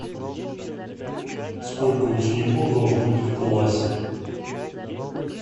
сколько учеников должно быть в классе